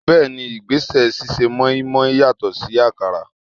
Bẹẹni, igbese sise mọ́í-mọ́í yàtọ̀ sí àkàrà.